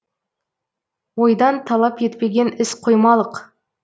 ойдан талап етпеген іс қоймалық